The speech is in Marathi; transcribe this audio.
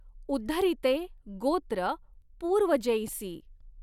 उद्धरितॆ गॊत्र पूर्वजॆंसी.